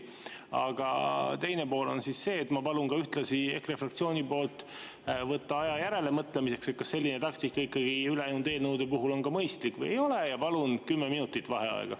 Aga teine pool on see, et ma palun ühtlasi EKRE fraktsiooni nimel võtta aja järelemõtlemiseks, kas selline taktika ikkagi ülejäänud eelnõude puhul on mõistlik või ei ole, ja palun 10 minutit vaheaega.